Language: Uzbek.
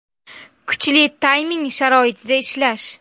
Kuchli tayming sharoitida ishlash.